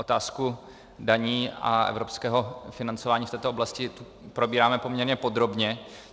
Otázku daní a evropského financování v této oblasti probíráme poměrně podrobně.